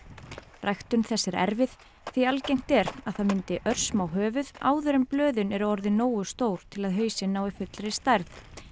ræktun þess er erfið því algengt er að það myndi örsmá höfuð áður en blöðin eru orðin nógu stór til að hausinn nái fullri stærð